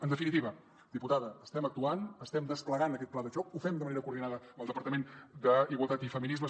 en definitiva diputada estem actuant estem desplegant aquest pla de xoc ho fem de manera coordinada amb el departament d’igualtat i feminismes